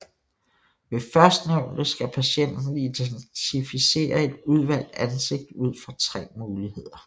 Ved førstnævnte skal patienten identificere et udvalgt ansigt ud fra tre muligheder